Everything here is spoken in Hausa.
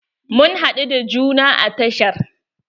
Mun haɗu da juna a tashar.